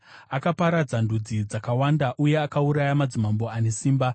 Akaparadza ndudzi dzakawanda uye akauraya madzimambo ane simba,